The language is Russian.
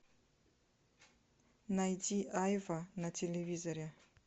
найди айва на телевизоре